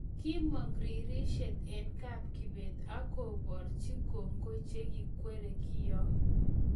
Kiimoong' riirseet eng' kapKibet ak koboorchin koongoi chegiikweerie ng'iyook